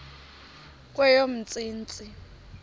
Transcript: kweyomntsintsi